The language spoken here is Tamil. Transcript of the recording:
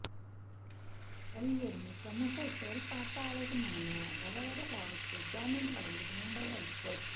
கவிஞரும் சமூக செயல்பாட்டாளரருமான வரவர ராவுக்கு ஜாமின் வழங்கியது மும்பை ஐகோர்ட்